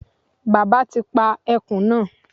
Bàbá ti pa ẹkùn náà